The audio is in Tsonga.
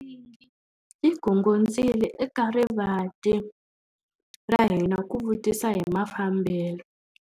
Nsingi yi gongondzile eka rivanti ra hina ku vutisa hi mafambelo.